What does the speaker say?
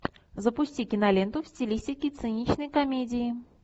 запусти киноленту в стилистике циничной комедии